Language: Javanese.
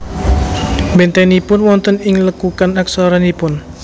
Bentenipun wonten ing lekukan aksaranipun